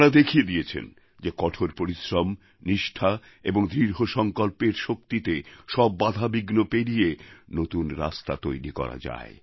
তাঁরা দেখিয়ে দিয়েছেন যে কঠোর পরিশ্রম নিষ্ঠা এবং দৃঢ় সংকল্পের শক্তিতে সব বাধাবিঘ্ন পেরিয়ে নতুন রাস্তা তৈরি করা যায়